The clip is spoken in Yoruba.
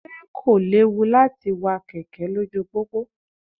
Ṣé kò léwu láti wa kẹ̀kẹ́ lójú pópó?